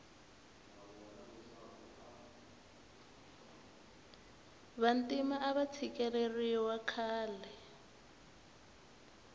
vantima ava tshikeleriwa khale